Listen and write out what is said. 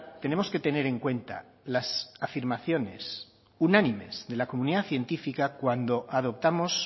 tenemos que tener en cuenta las afirmaciones unánimes de la comunidad científica adoptamos